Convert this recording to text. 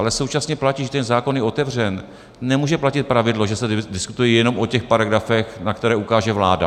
Ale současně platí, když ten zákon je otevřen, nemůže platit pravidlo, že se diskutuje jenom o těch paragrafech, na které ukáže vláda.